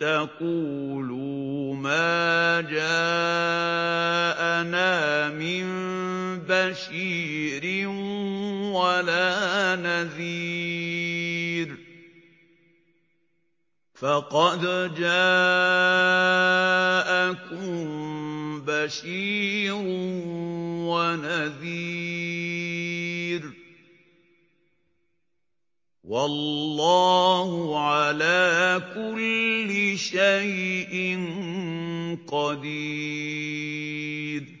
تَقُولُوا مَا جَاءَنَا مِن بَشِيرٍ وَلَا نَذِيرٍ ۖ فَقَدْ جَاءَكُم بَشِيرٌ وَنَذِيرٌ ۗ وَاللَّهُ عَلَىٰ كُلِّ شَيْءٍ قَدِيرٌ